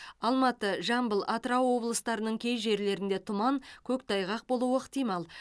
алматы жамбыл атырау облыстарының кей жерлеріңде тұман көктайғақ болуы ықтимал